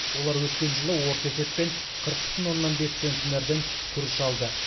олар өткен жылы орта есеппен қырық бүтін оннан бес центнерден күріш алды